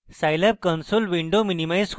আমি scilab console window minimize করব